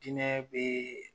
Jinɛ be ...